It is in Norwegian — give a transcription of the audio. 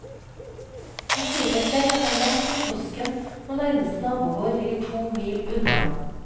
Det sier seg selv at det er langt til kiosken når nærmeste nabogård ligger to mil unna.